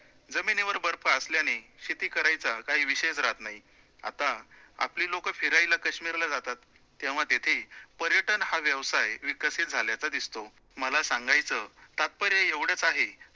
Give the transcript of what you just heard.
जमिनीवर बर्फ असल्याने शेती करायचा काही विषयचं रहात नाही, आता आपली लोकं फिरायला काश्मीरला जातात, तेव्हा तिथे पर्यटन हा व्यवसाय विकसित झाल्याचा दिसतो, मला सांगायचं तात्पर्य एवढचं आहे, त्यात